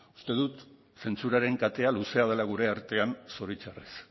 uste dut zentsuraren katea luzea dela gure artean zoritxarrez